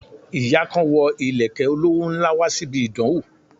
Ìyá kan wo ìlẹ̀kẹ̀ olówó ńlá wá síbi ìdánwó